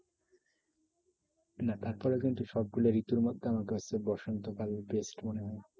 না তারপরেও কিন্তু সব গুলো ঋতুর মধ্যে বসন্ত কাল best মনে হয়।